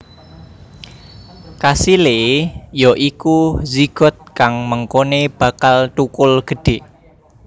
Kasilé ya iku zigot kang mengkoné bakal thukul gedhé